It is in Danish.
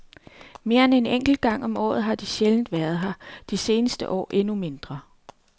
Mere end en enkelt gang om året har de sjældent været her, de seneste år endnu mindre.